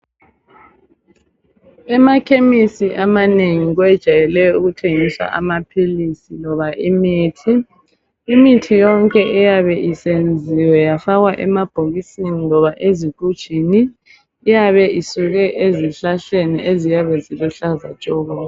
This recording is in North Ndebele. Emakhemisi amanengi kwejayele ukuthengiswa amaphilisi loba imithi. Imithi yonke eyabe isenziwe yafakwa emabhokisini loba ezigujini iyabe isuke ezihlahleni eziyabe ziluhlaza tshoko.